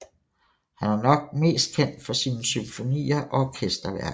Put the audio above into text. Han er nok mest kendt for sine symfonier og orkesterværker